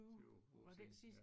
20 år siden ja